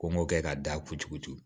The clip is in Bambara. Ko m'o kɛ ka da kuturu